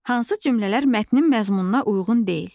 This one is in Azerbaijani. Hansı cümlələr mətnin məzmununa uyğun deyil.